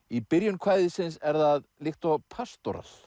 í byrjun kvæðisins er það líkt og